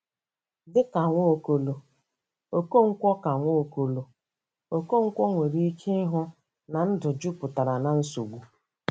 Dị ka Nwaokolo, Okonkwo ka Nwaokolo, Okonkwo nwere ike ịhụ na ndụ jupụtara na nsogbu.